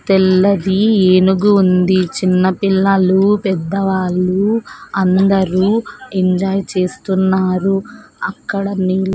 తెల్లది ఏనుగు ఉంది చిన్న పిల్లలు పెద్దవాళ్ళు అందరూ ఎంజాయ్ చేస్తున్నారు అక్కడ నేను--